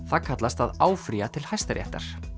það kallast að áfrýja til Hæstaréttar